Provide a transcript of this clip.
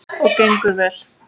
Og gengur vel.